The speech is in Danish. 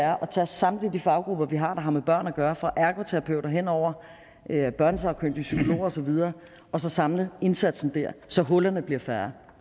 er at tage samtlige de faggrupper vi har der har med børn at gøre fra ergoterapeuter henover børnesagkyndige til psykologer og så videre og så samle indsatsen der så hullerne bliver færre